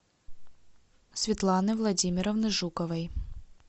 светланы владимировны жуковой